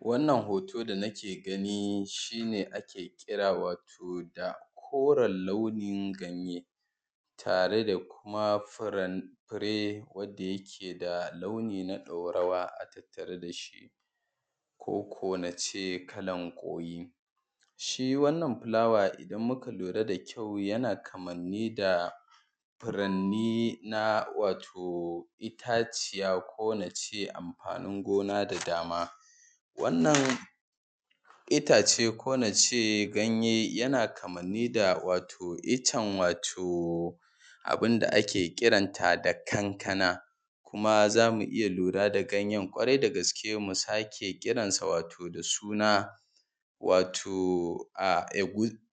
Wannan hoto da nake gani shi ne ake kira wato da ƙoren launin ganye tare da kuma furanye wanda yake da launi na ɗorawa a tattare da shi koko nace kalan koyi, shi wannan fulawa idan muka lura da kyau yana kammali da furanni na wato itaciya ko nace amfanin gona da dama, wannan itace ko nace ganye yana kamanni da wato iccen wato abun da ake kiranta da kankana kuma zamu iya lura da ganyen kwarai da gaske mu sake kiransa wato da suna wato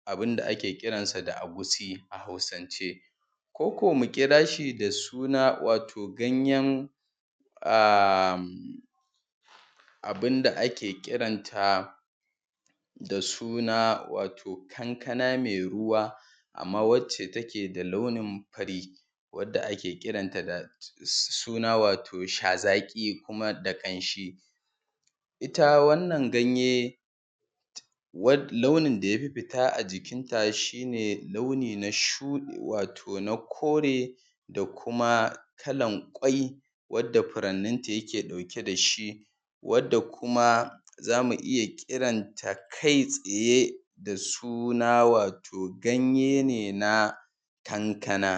abun da ake kiransa da akusi a Hausance koko mu kira shi da suna wato ganyen abun da ake kiranta da suna wato kankana mai ruwa amma wacce take da launin fari wanda ake kiranta da suna wato sha zaki kuma da kanshi, ita wannan ganye launin da yafe fita a jikin ta shi ne launi na shuɗe wato na kore da kuma kalan ƙwai wanda furannin ta yake ɗauke da shi wanda kuma zamu iya kiranta kai tsaye da suna wato ganye ne na kankana.